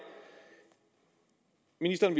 ministeren